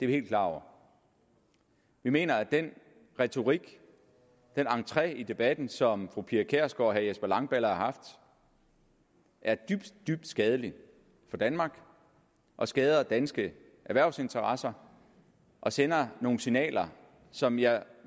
vi helt klar over vi mener at den retorik den entré i debatten som fru pia kjærsgaard og herre jesper langballe har haft er dybt dybt skadelig for danmark og skader danske erhvervsinteresser og sender nogle signaler som jeg